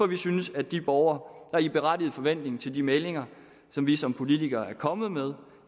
vi synes at de borgere der i berettiget forventning til de meldinger som vi som politikere er kommet med